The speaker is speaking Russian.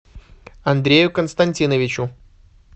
андрею константиновичу